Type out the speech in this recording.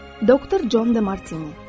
Doktor Con De Martini.